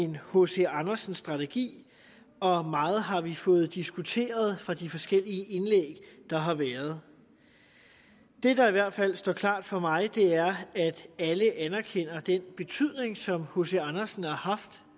en hc andersen strategi og meget har vi fået diskuteret ud fra de forskellige indlæg der har været det der i hvert fald står klart for mig er at alle anerkender den betydning som hc andersen har haft